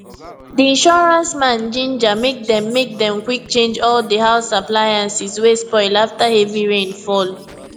di insurance man ginger make dem make dem quick change all di house appliances wey spoil after heavy rain fall